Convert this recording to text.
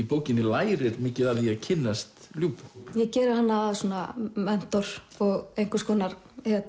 bókinni lærir mikið af því að kynnast ég geri hana að svona mentor og einhvers konar